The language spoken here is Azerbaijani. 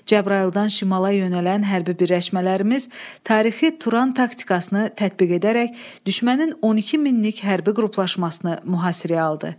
Cəbrayıldan şimala yönələn hərbi birləşmələrimiz tarixi Turan taktikasını tətbiq edərək düşmənin 12 minlik hərbi qruplaşmasını mühasirəyə aldı.